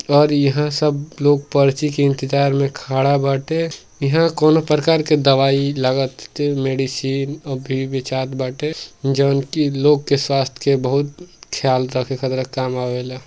और इहाँ सब लोग पर्ची के इंतजार में खड़ा बाटे। इहाँ कउनो प्रकार के दवाई लागते मेडिसीन और बाटे जउन की लोग के स्वास्थ के बोहोत ख्याल रक्खे खातिर के काम आवेला।